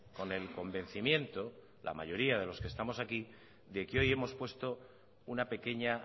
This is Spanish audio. con el convencimiento la mayoría de los que estamos aquí de que hoy hemos puesto una pequeña